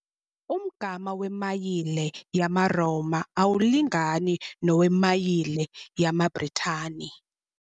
Umgama wemayile yamaRoma awulingani nowemayile yamaBritani.